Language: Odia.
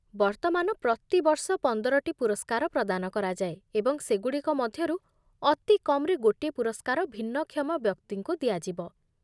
ବର୍ତ୍ତମାନ, ପ୍ରତିବର୍ଷ ପନ୍ଦରଟି ପୁରସ୍କାର ପ୍ରଦାନ କରାଯାଏ, ଏବଂ ସେ ଗୁଡ଼ିକ ମଧ୍ୟରୁ ଅତି କମ୍‌ରେ ଗୋଟିଏ ପୁରସ୍କାର ଭିନ୍ନକ୍ଷମ ବ୍ୟକ୍ତିଙ୍କୁ ଦିଆଯିବ।